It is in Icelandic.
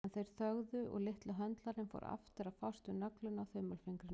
En þeir þögðu og litli höndlarinn fór aftur að fást við nöglina á þumalfingrinum.